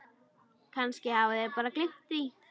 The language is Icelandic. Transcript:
Kannski hafa þeir bara gleymt því.